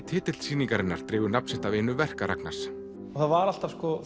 titill sýningarinnar dregur nafn sitt af einu verka Ragnars það var alltaf